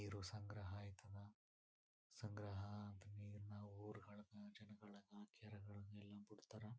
ನೀರು ಸಂಗ್ರಹ ಆಯ್ತಳ ಸಂಗ್ರಹ ಅಂತ ನೀರನ ಊರು ಹಳ್ಳಕೆ ಜನಗಳಗ ಕೆರೆಗಳಾಗ ಎಲ್ಲ ಬಿಡ್ತಾರ.--